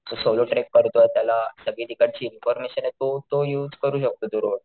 जो solo track करतो त्याला सगळी ठिकाणची इन्फॉर्मेशन तो तो युज करू शकतो तो रोड.